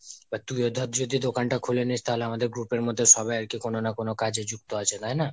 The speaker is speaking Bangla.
এবার তুইও ধর যদি দোকান তা খুলে নিস্ তাহলে আমাদের group এর মধ্যে সবাই আর কি কোনো না কোনো কাজে যুক্ত আছে তাইনা?